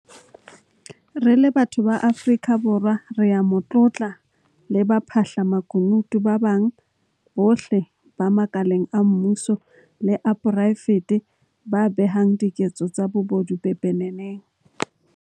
Re le batho ba Afrika Borwa re a mo tlotla le baphahla makunutu ba bang bohle ba makaleng a mmuso le a poraefete ba behang diketso tsa bobodu pepeneneng.